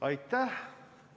Aitäh!